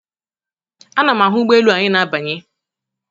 Ana m ahụ ụgbọelu anyị na-abanye.